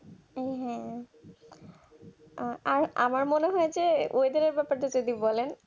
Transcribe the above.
হ্যাঁ হ্যাঁ আমার মনে হয় যে এদেরকে যতটুকু বলেন